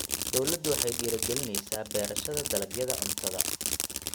Dawladdu waxay dhiirigelinaysaa beerashada dalagyada cuntada.